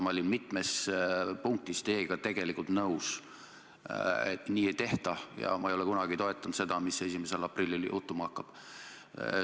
Ma olin mitmes punktis teiega tegelikult nõus, et nii ei tehta, ja ma ei ole kunagi toetanud seda, mis 1. aprillil juhtuma hakkab.